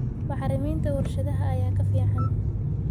Bacriminta warshadaha ayaa ka fiican.